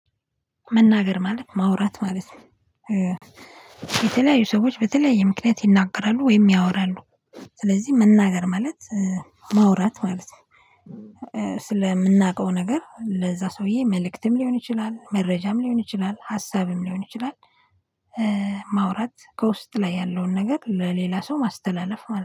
መናገር ማለት ማውራት ማለት ነው። የተለያዩ ሰዎች በተለያዩ ምክንያት ይናገራሉ ወይም ያወራሉ ስለዚህ መናገር ማለት ማውራት ማለት ነው። ስለምናውቀው ነገር ለዛ ሰውዬ መልእክትም ሊሆን ይችላል፣ መረጃም ሊሆን ይችላል፣ ሀሳብም ሊሆን ይችላል፣ ማውራት ከውስጥ ላይ ያለውን ነገር ለሌላ ሰው ማስተላለፍ ማለት ነው።